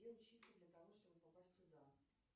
где учиться для того чтобы попасть туда